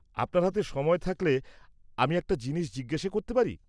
-আপনার হাতে সময় থাকলে আমি একটা জিনিস জিজ্ঞেস করতে পারি?